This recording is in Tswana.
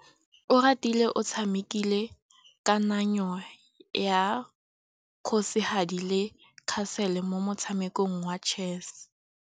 Oratile o tshamekile kananyô ya kgosigadi le khasêlê mo motshamekong wa chess.